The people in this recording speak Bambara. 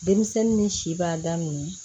Denmisɛnnin ni si b'a da nunnu na